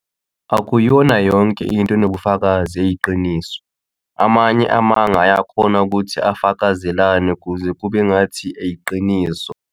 Akuyona yonke into enobufakazi eyiqiniso, amanye amanga ayakhona ukuthi afakazelane kuze kube engathi yiqiniso.